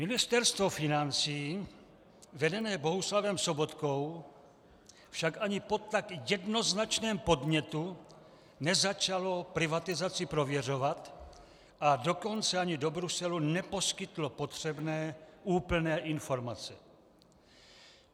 Ministerstvo financí vedené Bohuslavem Sobotkou však ani po tak jednoznačném podnětu nezačalo privatizaci prověřovat, a dokonce ani do Bruselu neposkytlo potřebné úplné informace.